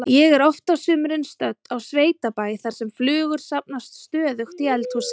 Ég er oft á sumrin stödd á sveitabæ þar sem flugur safnast stöðugt í eldhúsið.